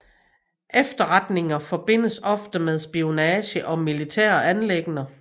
Efterretninger forbindes ofte med spionage og militære anliggender